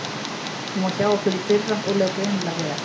Hún var hjá okkur í fyrra og leið greinilega vel.